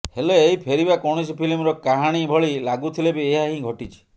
ହେଲେ ଏହି ଫେରିବା କୌଣସି ଫିଲ୍ମର କାହାଣୀ ଭଳି ଲାଗୁଥିଲେ ବି ଏହା ହିଁ ଘଟିଛି